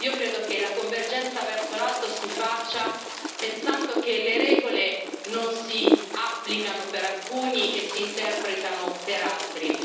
Io credo che la convergenza verso l'alto si faccia pensando che le regole non si applicano per alcuni e si interpretano per altri.